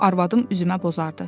Arvadım üzümə bozardı.